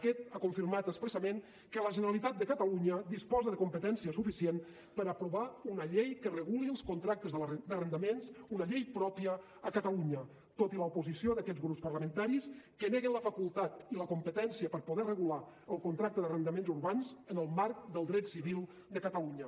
aquest ha confirmat expressament que la generalitat de catalunya disposa de competència suficient per aprovar una llei que reguli els contractes d’arrendaments una llei pròpia a catalunya tot i l’oposició d’aquests grups parlamentaris que neguen la facultat i la competència per poder regular el contracte d’arrendaments urbans en el marc del dret civil de catalunya